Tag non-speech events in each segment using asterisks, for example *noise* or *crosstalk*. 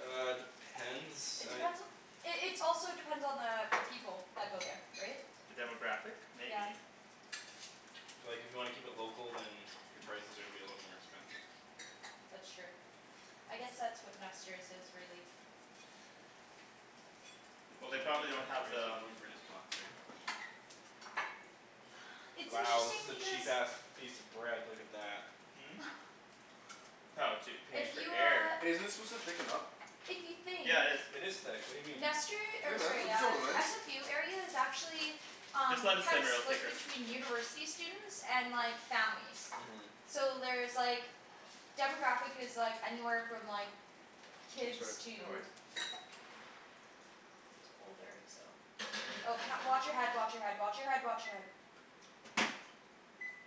Uh, depends, It I depends on It it's also depends on the people that go there. Right? The demographic? Yeah. Maybe. So like if you wanna keep it local, then Your prices are gonna be a little bit more expensive. That's true. I guess that's what Nester's is, really. Keep it Well at, they at probably don't have this *inaudible* we the don't wanna burn his pots, right? *noise* It's Wow, this interesting is a because cheap ass piece of bread. Look at that. Hmm? *noise* Oh dude Paying If for *noise* you air. uh Hey, isn't this supposed to thicken up? If you think Yeah it is. It is thick. What do you mean? Nester, Hey or man, what sorry are you uh, telling me Ryan? SFU area is actually Just Um let it simmer, it'll *inaudible* thicker. between university students and like, families. Mhm. So there's like demographic is like anywhere from like Oh kids sorry. No to worries. to older, so Oh wa- watch your head, watch your head, watch your head, watch your head.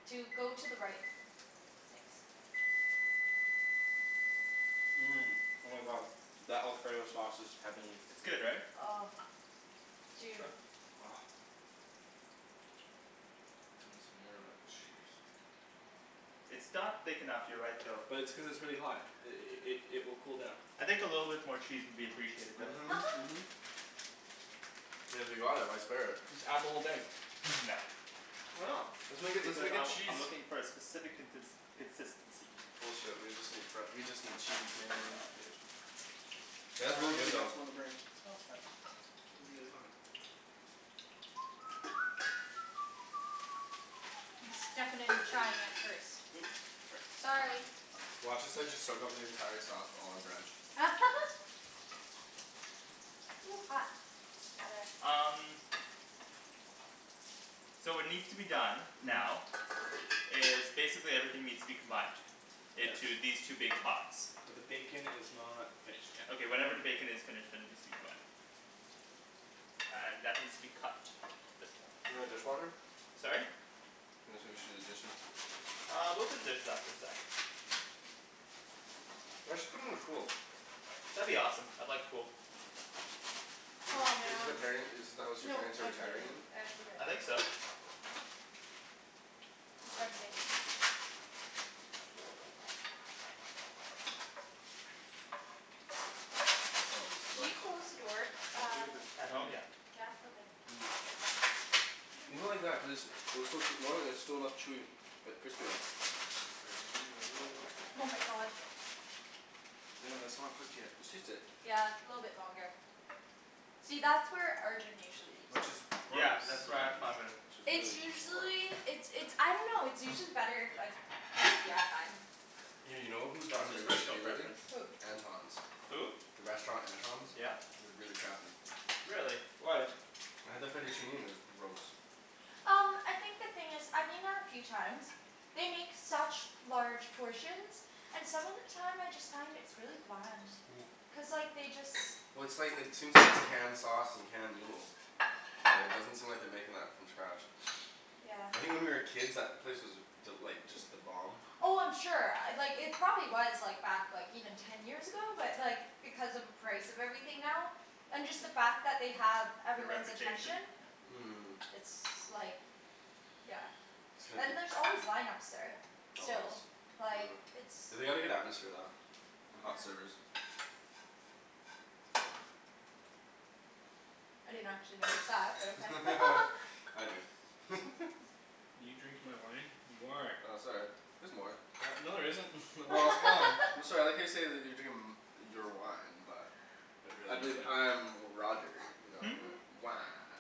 Dude go to the right. Thanks. Mmm. Oh my god. That alfredo sauce is heavenly. It's good right? Oh. Dude. Try? *noise* Gimme some more of that cheese. It's not thick enough, you're right though. But it's cuz it's really hot. I- i- i- it will cool down. I think a little bit more cheese would be appreciated though. *laughs* Mhm. I mean if we bought it, why spare it? Just add the whole thing. *laughs* No. Why not? Let's make a, let's Because make I a w- cheese. I'm looking for a specific contins- consistency. Bullshit, we just need fre- we just need cheese man. Nah dude. Oh *noise* no, you got some Yeah. on the burner. No it's fine. It'd be really hot. I'm *noise* stuffing it and trying it first. Oops, sorry. Sorry. Watch us like just soak up the entire sauce with all our bread. *laughs* Ooh, hot. Gotta Um So what needs to be done, now *noise* is basically everything needs to be combined Yes. into these two big pots. But the bacon is not finished yet. Okay whenever the bacon is finished, then it needs to be combined. Uh and that needs to be cut a bit more. You got a dishwasher? Sorry? I was gonna say we should do the dishes. Uh we'll do the dishes after the sauce. You guys should put in a pool. That'd be awesome. I'd like a pool. Is Aw this is this the man. parent is this the house your No, parents are I retiring cleaned. in? It's okay. I think so. Something. *noise* I want a Can slice. you close the door, I uh don't think it that's At done home? yet. Yeah. Yeah? Okay. People like that cuz, they'll still put more and it's still enough chewy, but crispy though. *inaudible* I just wanna get it a little bit crispy. Oh my god. Daniel, that's not cooked yet. Just taste it. Yeah, little bit longer. See, that's where Arjan usually eats. Yeah Gross. cuz that's where I *inaudible* Which is It's really gross. usually, it's it's I dunno, it's usually better if like crispy, I find. Yeah, you know who's That's gotten his really personal shitty lately? preference. Who? Anton's. Who? The restaurant Anton's? Yeah? It was really crappy. Really? Why? I had the fettuccine and it was gross. Um I think the thing is, I've been there a few times. They make such large portions. And some of the time I just find it's really bland. *noise* Cuz like, they just Well it's like, it seems like it's canned sauce and canned noodle. Yeah, it doesn't seem like they're making that from scratch. Yeah. I think when we were kids that place was th- like, just the bomb. Oh I'm sure. Uh like it probably was like back like even ten years ago. But like, because of the price of everything now and just the fact that they have Their everyone's attention. reputation? Yeah. Mhm. It's like Yeah. It's gonna be And there's c- always line ups there. Always. Still. Like, it's They had a good atmosphere though. And Yeah. hot servers. I didn't actually notice that, but okay. *laughs* *laughs* I do. *laughs* You drinking my wine? You are! Oh sorry. There's more. No there isn't. *laughs* My *inaudible* is gone. I'm *laughs* sorry, I like how you say that they're drinking m- your wine, but But I really, you believe dick. I'm Roger. *laughs* Wah.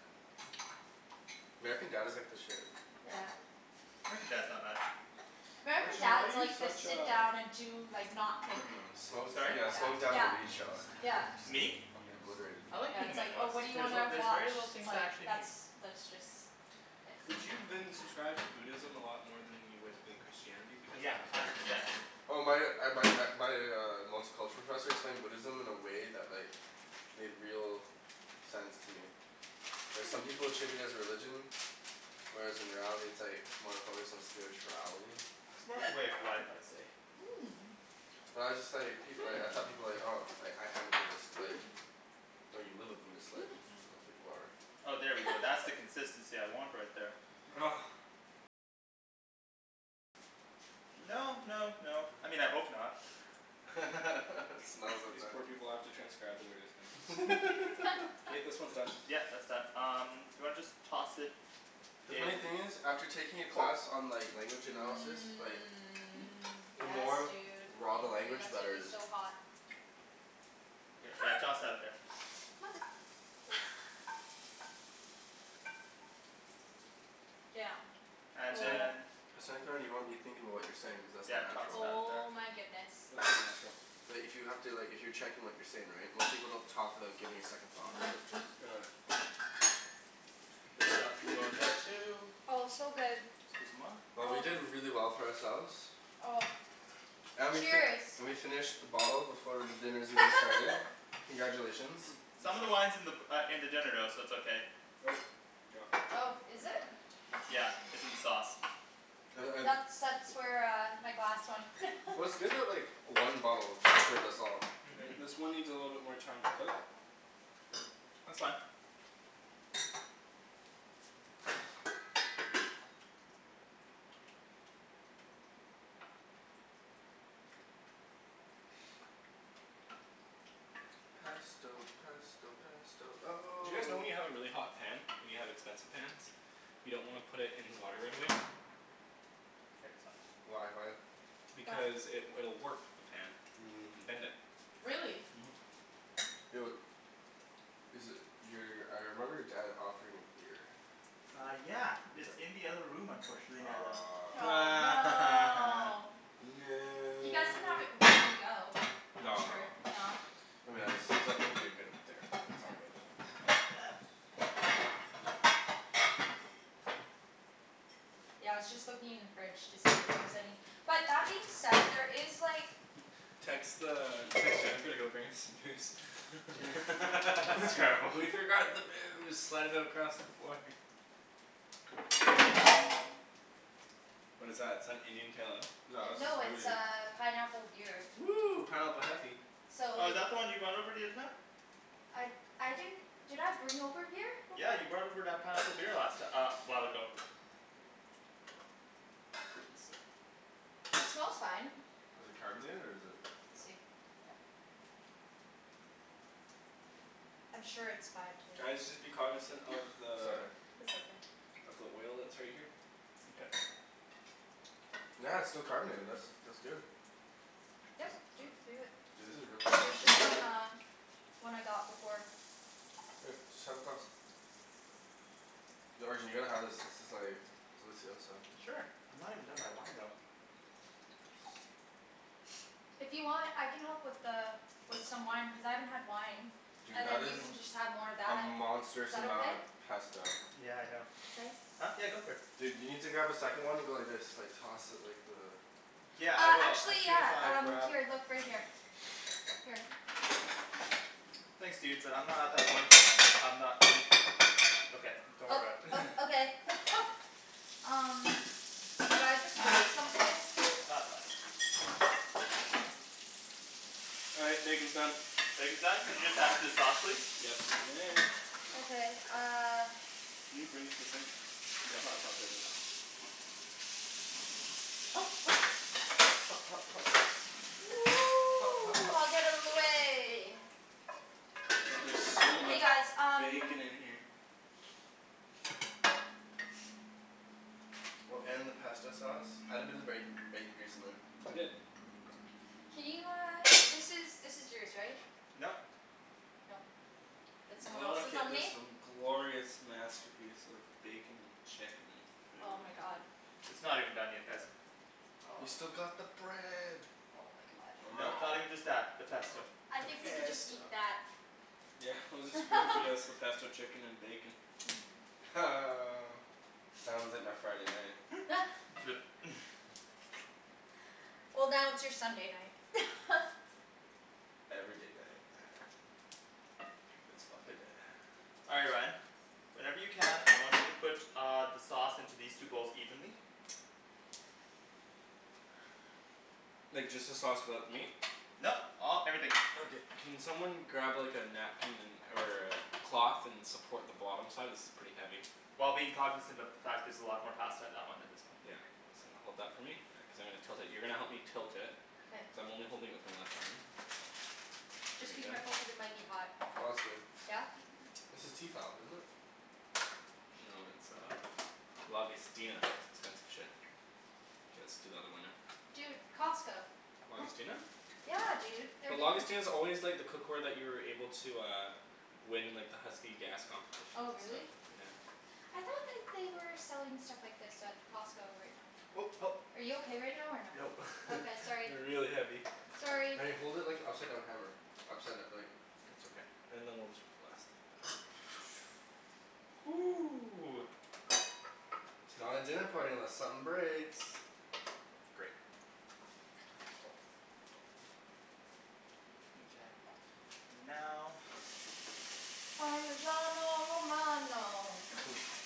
American Dad is like the shit. Yeah. American Dad's not bad. American Arjan why are Dad's you like the such sit a down and do like, not think. Minimalist. Smoke, Sorry? yeah, smoke down Yeah. and weed show. Yeah. Me? Fuckin' obliterated. I like Yeah, being it's a like, oh minimalist. what do you There's a- wanna there's watch? very little It's things I like actually that's need. that's just Did you then subscribe to Buddhism a lot more than you would with Christianity? Because Yeah. then Hundred percent. Oh my uh my uh my uh multiculture professor explained Buddhism in a way that like made real sense to me. Like some people treat it as religion whereas in reality it's like more focused on spirituality. It's more of a way *noise* of life, I'd say. Mmm. Well I just like, people y- I thought people like, "Oh, I Hmm. am a Buddhist," like Hmm. "No, you live a Buddhist life. Not that you Hmm. are." Oh there we go. That's the *laughs* consistency I want right there. *noise* No no no, I mean I hope not. *laughs* It *noise* smells like These that. poor people have to transcribe the weirdest things. *laughs* *laughs* K, *laughs* this one's done. Yeah, that's done. Um do you wanna just toss it The funny in thing is, after taking a *noise* class on like language analysis, like Mmm. the Yes more dude. raw the Thank you. language, the That's gonna better be it is. so hot. Yeah, toss Hot! that in there. *noise* Mother *noise* Damn. And Oh. then *inaudible* you wanna be thinking about what you're saying cuz that's Yeah, not toss natural. that in there. Oh my goodness. It's all natural. But if you have to, like if you're checking what you're saying right, most people don't talk without giving it a second thought, right? *noise* This stuff can go in there too. Oh it's so good. 'scuzez moi. Oh we did really well for ourselves. Oh. And we fi- Cheers. we finished the bottle before dinner's even started. *laughs* Congratulations. Some of the wine's in the b- uh in the dinner though, so it's okay. Nope. You dropped the chicken. Oh, is Would you it? mind? Yeah. It's in the sauce. Like That's I that's where uh my glass went. Well, it's *laughs* good that like one bottle *inaudible* us all. Mhm. Great. This one needs a little bit more time to cook. That's fine. Pesto pesto pesto Do oh you guys know when you have a really hot pan and you have expensive pans you don't wanna put it in the water right away? Get some. Why, why? Why? Because it will warp the pan. Mmm. And bend it. Really? Mhm. Yo Is it, your, I remember your dad offering a beer. Uh yeah. It's in the other room unfortunately now though. Aw. Aw, no! *laughs* You guys can have No! it before you go. I'm No sure, no. no. I mean I just see something that'd be good with dinner. That's all. Fuck yeah. Yeah, I was just looking in the fridge to see if there is any. But that being said, there is like Text the, text Jennifer to go bring us some booze. *laughs* That's *laughs* terrible. We forgot the booze! Slide it across the floor. *laughs* What is that, is that Indian Pale Ale? No this is No it's Moody. uh pineapple beer. Woo! Pineapple heffy. So Oh is like that the one you brought over the other time? I I didn't Did I bring over a beer before? Yeah you brought over that pineapple beer last ti- uh a while ago. Let me see. It smells fine. Is it carbonated or is it We'll see. I'm sure it's fine to Guys just be cognizant of *laughs* the Sorry. That's okay. of the oil that's right here. Okay. Yeah, it's still carbonated, this. That's good. Yep dude, do it. Dude this is really It was tasty. just on the One I got before. Here, just have a glass. Yo Arjan you gotta have this, this is like delicioso. Sure. I'm not even done my wine though. *noise* If you want I can help with the with some wine, cuz I haven't had wine. Dude And that then you is can just have more of a that. monstrous Is that amount okay? of pesto. Yeah I know. Thanks. Huh? Yeah go for it. Dude you need to grab a second one and go like this, like toss it like the Yeah I Uh will, as actually soon as yeah I um, grab here, look, right here. Here. Thanks dude, but I'm not at that point yet, I'm not um Okay. Don't Oh worry about it. uh okay. *laughs* Um Did I just break something? Nah, it's fine. All right, bacon's done. Bacon's done? Could you just add it to the sauce please? Yes you may. Okay uh Can you bring this to the sink? Yeah, untucker this. Hot hot. Hot hot hot. Hot hot hot. *noise* Get out of the way. Wow there's so Hey much guys um bacon in here. Well, and the pesto sauce. Add a bit of bacon, bacon grease in there. I did. *noise* Can you uh, this is, this is yours right? Nope. No. That's someone Look else's at on this me? um glorious masterpiece of bacon and chicken and Oh food. my god. It's not even done yet guys. We've still got the bread. Oh my god. Nope, not even just that. The pesto. I think we could just Pesto. eat that. Yeah, we'll spoon *laughs* feed us the pesto chicken and bacon. Ha. Sounds like my Friday night. *laughs* *laughs* Flip. *laughs* *noise* Well now it's your Sunday night. *laughs* Every day night. *noise* It's fuck a day. All right Ryan. Whenever you can, I want you to put uh the sauce into these two bowls evenly. Like just the sauce without the meat? Nope, all, everything. Okay. Can someone grab like a napkin and or a cloth and support the bottom side? This is pretty heavy. While being cognizant of the fact there's a lot more pasta in that one than this one. Yeah. So hold that for me, yeah, cuz I'm gonna tilt it. You're gonna help me tilt it. Cuz K. I'm only holding it with my left arm. Just be careful cuz it might be hot. Oh that's good. Yeah? This is Tefal, isn't it? No it's uh Lagostina. It's expensive shit. K, let's do the other one now. Dude, Costco. *noise* Lagostina? Yeah dude, they're But giving Lagostina's always like the cookware that you were able to uh win in like the Husky gas Oh competitions and really? stuff, yeah. I thought that they were selling stuff like this at Costco right now. Oh help. Are you okay right now or no? Nope. *laughs* Okay, sorry. They're really heavy. Sorry! Wait, hold it like an upside down hammer. Upside d- like It's okay. And then we'll just put the last little bit. *noise* Ooh. It's not a dinner party unless something breaks. Great. Mkay. Now Parmesano romano. *laughs*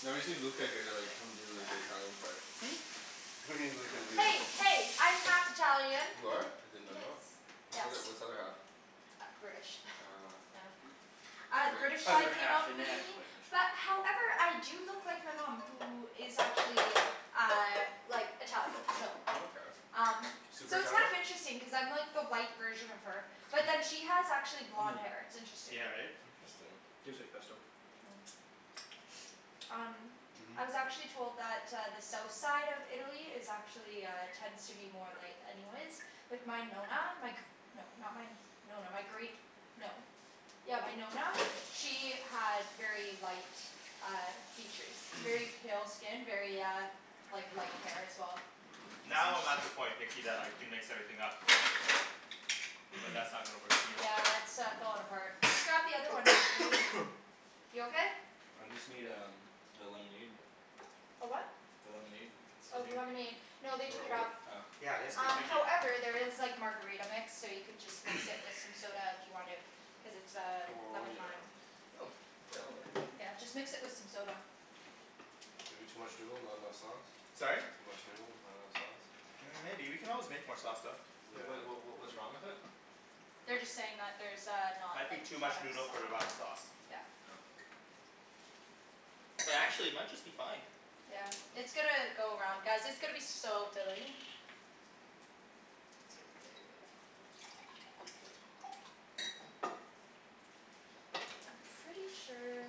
No, you see Luca here they're like, come do like the Italian part. Hmm? *laughs* He's not gonna do this. Hey hey, I'm half Italian. You are? I did not know. Yes. What's the Yes. other what's the other half? Uh British. Ah. Oh. Ah, the British *noise* Other side came half out *noise* inadequate. But however I do look like my mom, who is actually uh like Italian, so Oh okay. um Super So it's kind Italian? of interesting cuz I'm like the light version of her. *laughs* Hmm. Yeah, right? Interesting. Tastes like pesto. Hmm. Um Mhm. I was actually told that uh the south side of Italy is actually uh, tends to be more light anyways. Like my Nonna, my gr- No, not my Nonna, my great No. Yeah, my Nonna, she had very light uh features very *noise* pale skin, very uh like light hair as well. Now I'm at the *inaudible* point Nikki that I can mix everything up. But *noise* that's not gonna work for me. Yeah it's uh falling apart. Just grab the other one that you were using. *noise* You okay? I just need um the lemonade. A what? The lemonade? If it's still Oh, the here? lemonade. No Want they me to took it hold it? up. Oh. Yeah, yes please, Um thank you. however there is like margarita mix, so you could just mix *noise* it with some soda if you wanted. Cuz it's uh Oh lemon yeah. lime. Hmm. Yeah, that works. Yeah, just mix it with some soda. Maybe too much noodle, not enough sauce? Sorry? Too much noodle, not enough sauce. Mm maybe, we can always make more sauce though. Yeah. Wait what what what what's wrong with it? They're just saying that there's uh I not like think too much kind of noodle for the amount of sau- sauce. Yeah. Oh. But actually it might just be fine. Yeah. It's gonna go around, guys, it's gonna be so filling. It's gonna be good. I'm pretty sure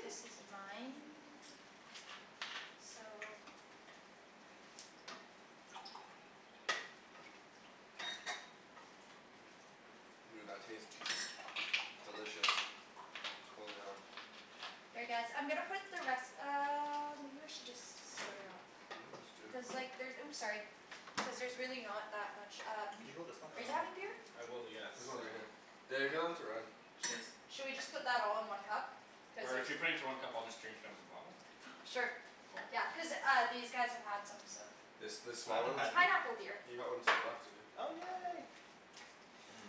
this is mine. So. Dude, that tastes delicious. Holy hell. Here guys, I'm gonna put the res- um or maybe I should just split it up. Yeah, let's do. Cuz like there's, oops sorry. Cuz there's really not that much um Can you hold this one Are please? you Um having beer? I will, yes, There's um one right here. They're going to run. Cheers. Shall we just put that all in one cup? Cuz Or if if you put it into one cup I'll just drink it out of the bottle. *noise* Sure. Oh. Yeah. Cuz uh these guys have had some, so It's this I small haven't one? It's had any. pineapple beer. He got one too, after you. Oh yay. Mmm.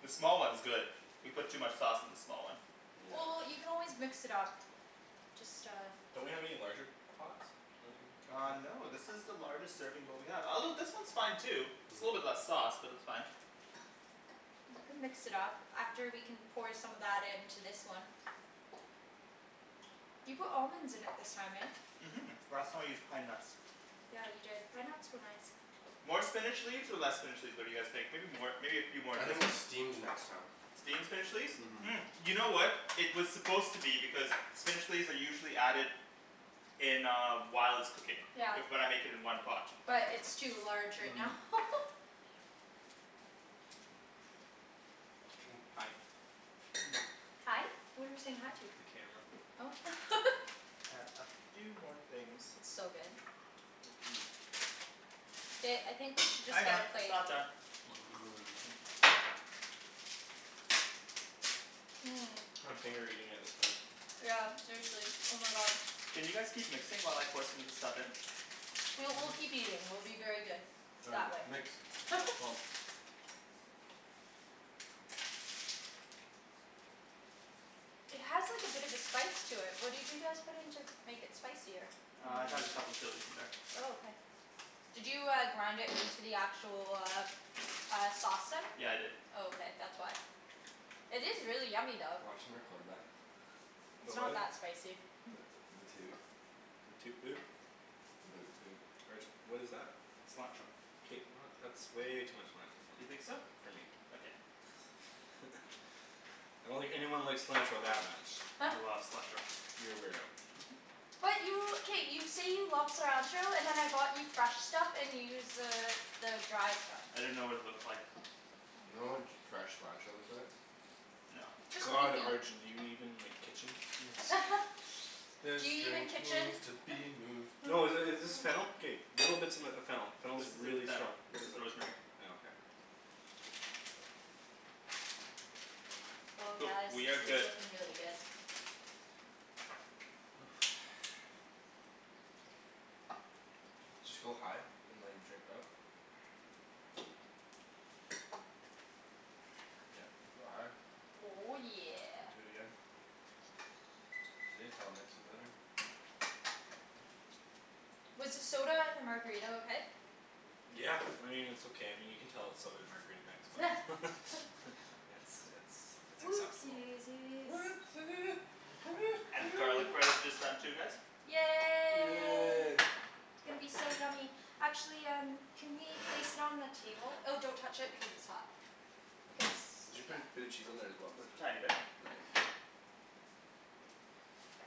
The small one's good. We put too much sauce in the small one. Well, Yeah. you can always mix it up. Just uh Don't we have any larger pots? *noise* Uh no this is the largest serving bowl we have. Although this one's fine too. Just a little bit Mhm. less sauce, but that's fine. You can mix it up. After we can pour some of that into this one. You put almonds in it this time, eh? Mhm. Last time I used pine nuts. Yeah you did. Pine nuts were nice. More spinach leaves or less spinach leaves, what do you guys think? Maybe more. Maybe a few more I in this think one steamed next time. Steam the spinach leaves? Mhm Mm, you know what It was supposed to be, because spinach leaves are usually added in uh whilst cooking. Yeah. With what I'm making in one pot. But it's too large right now. Mmm. *laughs* *noise* Hi. Hi? What are we saying hi to? The camera. Oh. *laughs* And a few more things. It's so good. *noise* Ba- I think we should just get a *inaudible* it's plate. not done. Mmm. Mmm. I'm finger eating at this point. Yeah seriously, oh my god. Can you guys keep mixing while I pour some of this stuff in? We'll, we'll keep eating. We'll be very good. That Found way. you. Nikks? *laughs* *noise* It has like a bit of a spice to it, what did you guys put in to make it spicier? Uh it has a couple chilis in there. Oh okay. Did you uh grind it into the actual, uh uh sauce then? Yeah I did. Oh okay, that's why. It is really yummy though. Watch 'em record that. It's About not what? that spicy. The the toot. The toot boot? The boot toot. Arjan what is that? Cilantro. K not, that's way too much cilantro. You think so? For me. Okay. *laughs* I don't think anyone likes cilantro that much. I love cilantro. You're a weirdo. *laughs* But you, k, you say you love cilantro, and then I bought you fresh stuff and you use the the dry stuff. I didn't know what it looked like. Oh You know my what god. fresh cilantro looks like? No. Just God *inaudible* Arjan, do you even like, kitchen? *laughs* *laughs* This Do you even drink kitchen? needs to be moved. No i- *noise* is this fennel? K little bits of m- fennel. Fennel This is isn't really fennel. strong. This is rosemary. Oh okay. Oh Cool. guys, We this have is good looking really good. *noise* Just go high and like drip it up. *noise* Yep. Like, go high. Oh yeah. Do it again. See, it's all mixed and better. Was the soda and the margarita okay? Yeah, I mean it's okay. I mean you can tell it's soda and margarita mix, *laughs* but. *laughs* *laughs* It's it's it's Whoopsie acceptable. daisies. Whoopsie, hoo And the garlic hoo. bread is just done too guys. Yay. Yay. It's gonna be so yummy. Actually um can we place it on the table? Oh don't touch it because it's hot. Cuz, Did you put yeah. a bit of cheese on there as well or is it just Tiny bit. Nice.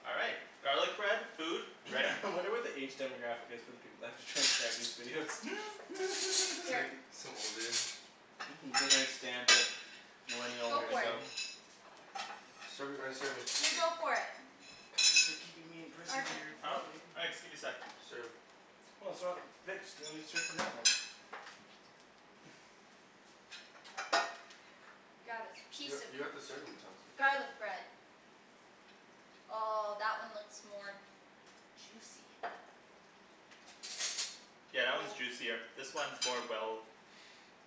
All right. Garlic bread, food, ready. *laughs* I wonder what the age demographic is for the people that have to transcribe these videos. *laughs* *inaudible* Here. *laughs* some old dude. Mhm. Don't understand it. Millennial Go for it. lingo. Serve it Ryan, serve me. You go for it. Thanks for keeping me in prison Arjan. dear. Huh? Thanks, give me sec. Serve. Well it's not mixed, you wanna serve from that one. *noise* Grab a You piece got of you got the serving utensils. garlic bread. Oh that one looks more juicy. Yeah, that one's juicier. This one's more well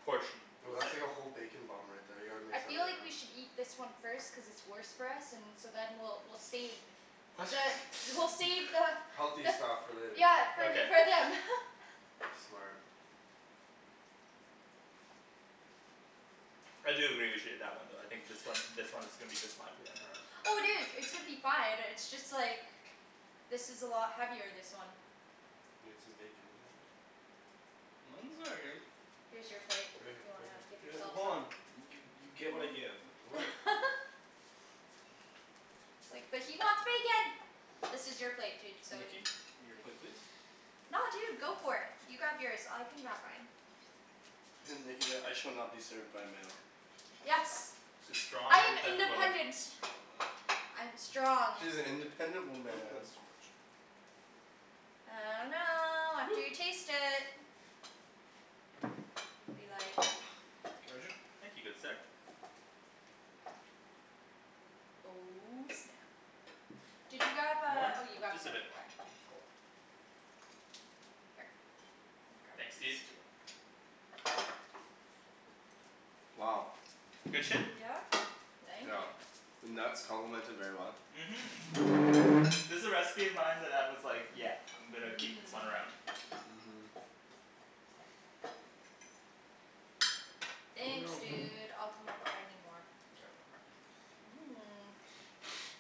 portioned. Yo that's like a whole bacon bomb right there, you gotta mix I that feel one like up. we should eat this one first cuz it's worse for us, and so then we'll we'll save the, we'll save the *laughs* Healthy But stuff for later. Yeah for, Okay. for them. *laughs* Smart. I do agree with you on that one though, I think this one this one is gonna be just fine for them. All right. Oh dude, it's gonna be fine, it's just like this is a lot heavier, this one. Need some bacon with that. Mine's very good. Here's your plate, Right if here, you right wanna here. give *noise* yourself hold some. on, you you get what I give. What *laughs* It's like, but he wants bacon. This is your plate dude, so y- Nikki? Your plate please. No dude, go for it. You grab yours. I can grab mine. *laughs* Nikki's like "I shall not be served by a male." Yes. She's strong I am independent woman. independent. I am strong. She's an independent I think that's woman. too much. I dunno, after Woo. you taste it. Gonna be like Arjan? Thank you, good sir. Oh snap! Did you grab uh, More? oh you grabbed Just the a other bit more. part. Here. Thanks dude. Wow. Good shit? Yeah. Thank you. The nuts complement it very well. Mhm. This a recipe of mine that I was like, yeah I'm gonna keep this one around. Mhm. Thanks No. dude, I'll come up if I need more. Mmm. *noise*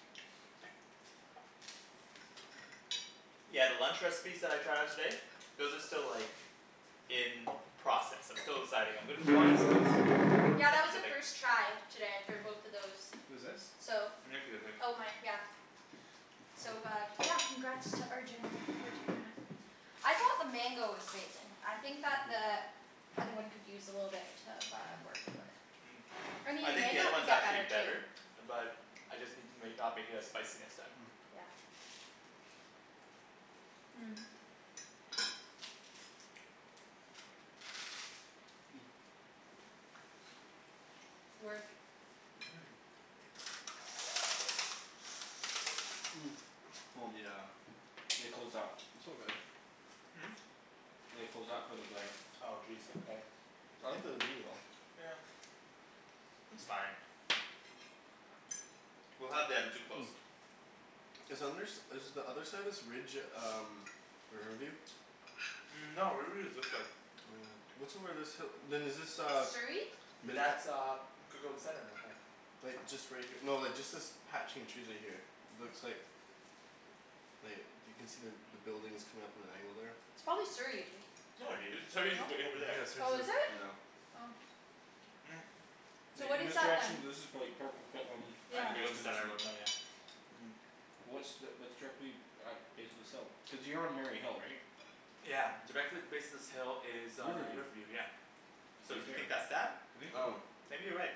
Yeah, the lunch recipes that I tried out today those are still like in process. I'm still deciding. I'm gonna Whose keep wine is *inaudible* this? Yeah that was Nikki's a a big first try today for both of those. Who's this? So Nikki I think. Oh mine, yeah. So uh, yeah, congrats to Arjan for doing that. I thought the mango was amazing. I think that the other one could use a little bit uh of work but Mm. I I mean think the other mango could one's get actually better better. too. But I just need to make, not make it as spicy next time. *noise* Yeah. Mmm. *noise* Work. Mhm. Mmm. *noise* Yeah. They closed that. It's all good. Hmm? They closed that for the glare. Oh jeez, okay. I like the view though. Yeah. It's fine. We'll have the other two close. Is under s- is the other side of this ridge um Riverview? Mm no, Riverview is this way. Oh. What's over this hi- then is this uh Surrey? That's *inaudible* uh Coquitlam Center it looked like. Like just right here, no just like this patch in trees right here. Looks like like you can see the buildings coming up at an angle there. It's probably Surrey, dude. No dude, Surrey's No? way over there. Yeah, Surrey's Oh, at, is it? yeah. Oh. Mm So Like what in is this *inaudible* that then? this is prolly like Port Coquitlam in Yeah the just distance and *inaudible* Mm. What's the, that's directly at base of this hill? Cuz you're on Mary Hill right? Yeah. Directly at the base of this hill is uh Riverview. Riverview, yeah. So do you think that's *inaudible* that? I think so. Maybe you're right.